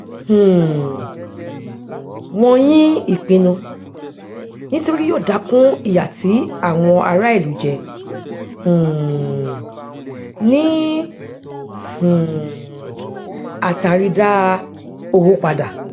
um wọn yín ìpinnu nítorí yóò dákun ìyà tí àwọn ará ìlú jẹ um ní um àtàrí dá owó padà